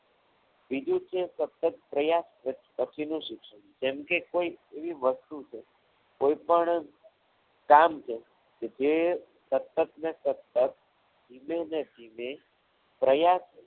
બીજું છે સતત પ્રયાસ પછીનું શિક્ષણ જેમ કે કોઈ એવી વસ્તુ છે કોઈપણ કામ છે જે સતત ને સતત ધીમે-ધીમે પ્રયાસ